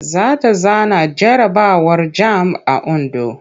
Za ta zana jarabawar jamb a Ondo.